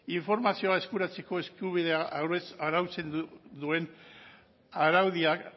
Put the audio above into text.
informazioa eskuratzeko eskubidea arautzen duen araudiak